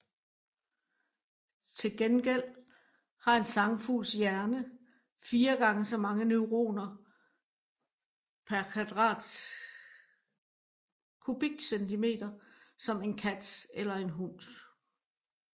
Til gengæld har en sangfugls hjerne fire gange så mange neuroner pr cm3 som en kats eller en hunds